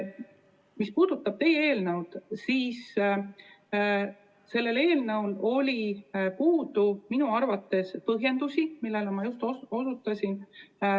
Mis puudutab teie eelnõu, siis sellel eelnõul oli minu arvates puudu põhjendusi, millele ma just osutasin.